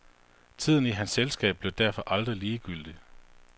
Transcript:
Tiden i hans selskab blev derfor aldrig ligegyldig.